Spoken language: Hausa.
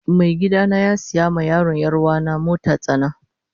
Mai gida na ya siya ma yaron yaruwana motar tsana.